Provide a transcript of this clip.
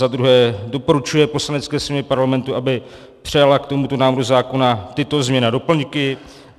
Za druhé, doporučuje Poslanecké sněmovně Parlamentu, aby přijala k tomuto návrhu zákona tyto změny a doplňky.